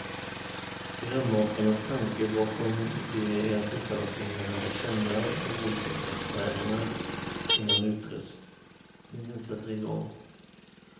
Programmakarnas tanke bakom det är att tittarna ska hinna lära känna de olika karaktärerna, innan utröstningen sätter igång.